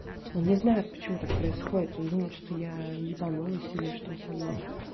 он не знает почему так происходит он думает что я ебанулась или что со мной